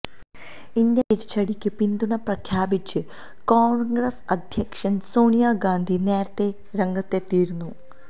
Indian തിരിച്ചടിക്ക് പിന്തുണ പ്രഖ്യാപിച്ച് കോണ്ഗ്രസ് അധ്യക്ഷ സോണിയ ഗാന്ധി നേരത്തെ രംഗത്തെത്തിയിരുന്നു